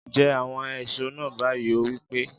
Jẹ àwọn èso náà báyìí! ó wí pé